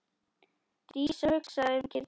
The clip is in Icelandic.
Dísa hugsaði um kýrnar.